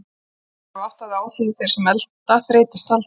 Þú hlýtur að hafa áttað þig á því að þeir sem elta þreytast aldrei.